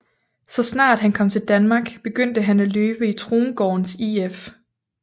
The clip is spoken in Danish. Så snart han kom til Danmark begyndte han at løbe i Trongårdens IF